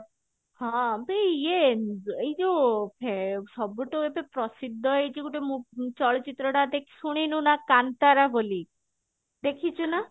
ହଁ ବି ଇଏ ଏଇ ଯୋଉ ଫେ ସବୁଠୁ ଏବେ ପ୍ରସିଦ୍ଧ ହେଇଛି ଗୋଟେ ମୁ ଚଳଚିତ୍ର ଟା ଶୁଣିନୁ ନା କାନ୍ତାରା ବୋଲି ଦେଖିଛୁ ନା